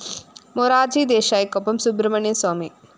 മൊറാര്‍ജി ദേശായിക്കൊപ്പം സുബ്രഹ്മണ്യന്‍ സ്വാമി